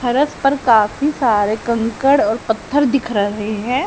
फरस पर काफी सारे कंकड़ और पत्थर दिख रहे हैं।